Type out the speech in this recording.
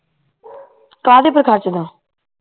ਕਾਹਦੇ ਪੇ ਖਰਚਦਾ